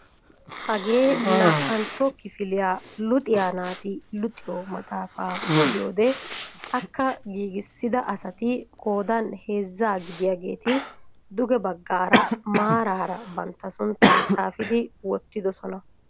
hagee naa"antto kifiliyaa luxiyaa naati luxxiyoo maxaafaa gidiyoode akka giigissida asati qoodan heezzaa gidiyaageti duuge baggaara maaraara bantta sunttaa xaafidi wottidoosona.